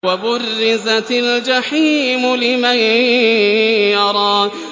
وَبُرِّزَتِ الْجَحِيمُ لِمَن يَرَىٰ